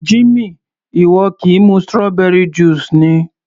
Jimmy, ìwọ kì í mu strawberry juice ni?